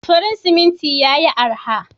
Farin siminti yayi araha.